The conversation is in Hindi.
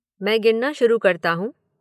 मैं गिनना शुरु करता हूँ